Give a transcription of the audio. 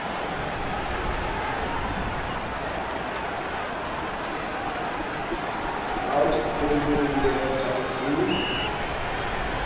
round table le rotary le